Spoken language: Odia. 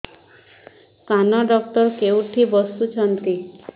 କାନ ଡକ୍ଟର କୋଉଠି ବସୁଛନ୍ତି